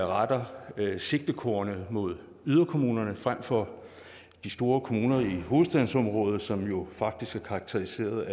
retter sigtekornet mod yderkommunerne frem for de store kommuner i hovedstadsområdet som jo faktisk er karakteriseret